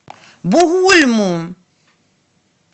бугульму